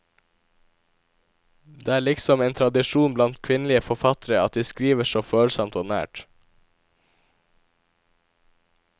Det er liksom en tradisjon blant kvinnelige forfattere, at de skriver så følsomt og nært.